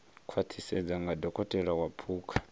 khwaṱhisedzwa nga dokotela wa phukha